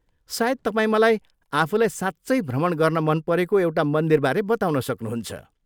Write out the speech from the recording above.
सायद तपाईँ मलाई आफूलाई साँच्चै भ्रमण गर्न मन परेको एउटा मन्दिरबारे बताउन सक्नुहुन्छ।